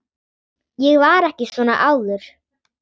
Ég var ekki svona áður.